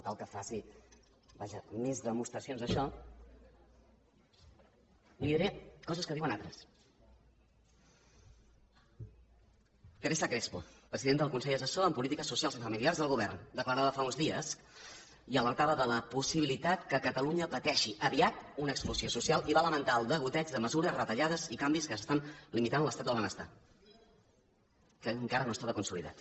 cal que faci vaja més demostracions d’això li diré coses que diuen altres teresa crespo presidenta del consell assessor en polítiques socials i familiars del govern declarava fa uns dies i alertava de la possibilitat que catalunya pateixi aviat una exclusió social i va lamentar el degoteig de mesures de retallades i canvis que estan limitant l’estat del benestar que encara no estava consolidat